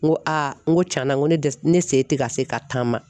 N ko a n ko tiɲɛna n ko ne dɛsɛ la, ne se tɛ ka se ka taa ma.